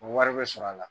O wari bɛ sɔrɔ a la